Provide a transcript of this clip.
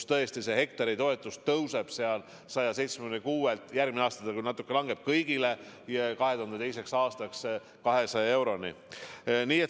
Hektaritoetus tõuseb 2022. aastaks 176 eurolt – järgmisel aastal see küll natuke langeb kõigil – 200 euroni.